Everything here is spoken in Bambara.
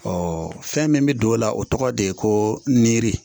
fɛn min bɛ don o la o tɔgɔ de ye ko niri